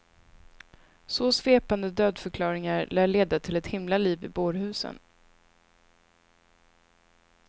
Så svepande dödförklaringar lär leda till ett himla liv i bårhusen.